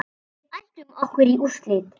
Við ætlum okkur í úrslit.